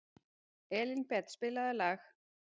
Elínbet, spilaðu lag.